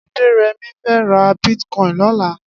Aderemi fè rà bitkòin lòlà